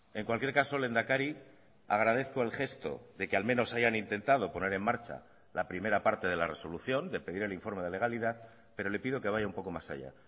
en cualquier caso lehendakari agradezco el gesto de que al menos hayan intentado poner en marcha la primera parte de la resolución de pedir el informe de legalidad pero le pido que vaya un poco más allá